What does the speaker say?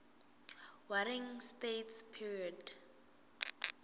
warring states period